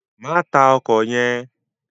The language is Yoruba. Má tá òkò yèn